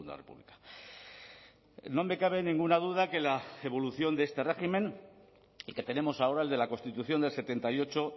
república no me cabe ninguna duda que la evolución de este régimen el que tenemos ahora el de la constitución del setenta y ocho